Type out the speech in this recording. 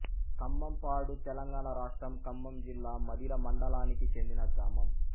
ఖమ్మంపాడు తెలంగాణ రాష్ట్రం ఖమ్మం జిల్లా మధిర మండలానికి చెందిన గ్రామం